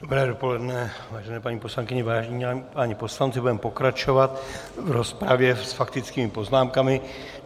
Dobré dopoledne, vážené paní poslankyně, vážení páni poslanci, budeme pokračovat v rozpravě s faktickými poznámkami.